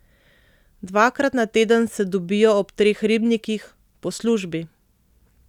Dvakrat na teden se dobijo ob Treh ribnikih, po službi.